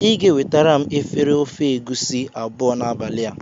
Ị ga-ewetara m efere ofe egusi abụọ n'abalị a.